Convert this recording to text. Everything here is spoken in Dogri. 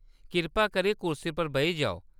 कृपा करियै कुर्सी पर बेही जाओ।